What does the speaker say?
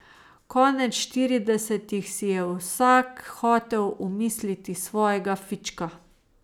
Konec šestdesetih si je vsak hotel omisliti svojega fička.